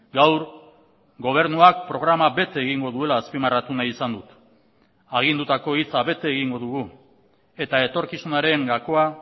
gaur gobernuak programa bete egingo duela azpimarratu nahi izan dut agindutako hitza bete egingo dugu eta etorkizunaren gakoa